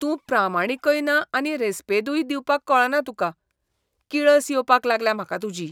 तूं प्रामाणीकय ना आनी रेस्पेदूय दिवपाक कळना तुका. किळस येवपाक लागल्या म्हाका तुजी.